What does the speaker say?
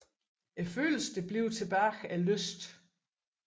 Følelsen der bliver tilbage er lyst